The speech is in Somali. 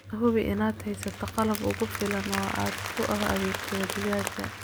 Hubi inaad haysato qalab kugu filan oo aad ugu adeegto digaagga.